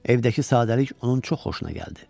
Evdəki sadəlik onun çox xoşuna gəldi.